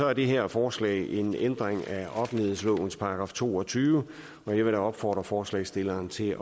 er det her forslag en ændring af offentlighedslovens § to og tyve og jeg vil da opfordre forslagsstilleren til